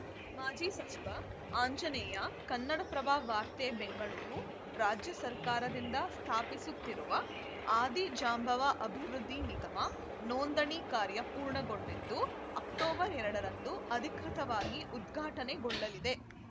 ಮಾಜಿ ಸಚಿವ ಆಂಜನೇಯ ಕನ್ನಡಪ್ರಭ ವಾರ್ತೆ ಬೆಂಗಳೂರು ರಾಜ್ಯ ಸರ್ಕಾರದಿಂದ ಸ್ಥಾಪಿಸುತ್ತಿರುವ ಆದಿ ಜಾಂಬವ ಅಭಿವೃದ್ಧಿ ನಿಗಮ ನೋಂದಣಿ ಕಾರ್ಯ ಪೂರ್ಣಗೊಂಡಿದ್ದು ಅಕ್ಟೋಬರ್ ಎರಡರಂದು ಅಧಿಕೃತವಾಗಿ ಉದ್ಘಾಟನೆಗೊಳ್ಳಲಿದೆ